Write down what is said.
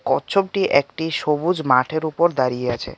কচ্ছপটি একটি সবুজ মাঠের ওপর দাঁড়িয়ে আছে।